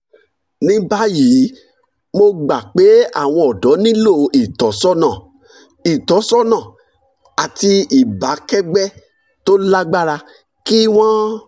ní báyìí mo gbà pé àwọn ọ̀dọ́ nílò ìtọ́sọ́nà ìtọ́sọ́nà àti ìbákẹ́gbẹ́ tó lágbára kí wọ́n